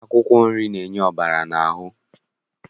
Akwụkwọ nri na-enye ọbara n'ahụ